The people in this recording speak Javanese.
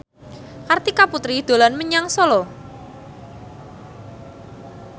Kartika Putri dolan menyang Solo